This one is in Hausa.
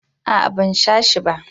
a'a ban sha shi ba.